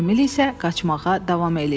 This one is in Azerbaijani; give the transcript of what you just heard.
Emil isə qaçmağa davam eləyirdi.